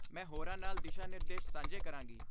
ਮੈਂ ਹੋਰਾਂ ਨਾਲ ਦਿਸ਼ਾ ਨਿਰਦੇਸ਼ ਸਾਂਝੇ ਕਰਾਂਗੀ